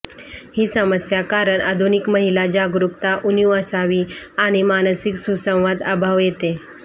ही समस्या कारण आधुनिक महिला जागरूकता उणीव असावी आणि मानसिक सुसंवाद अभाव येते